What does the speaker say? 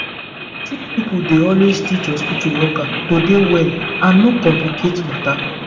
sick pipo dey always teach hospitu workers to dey well and no complicate matter